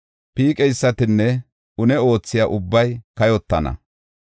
Piiqeysatinne une oothiya ubbay kayotana.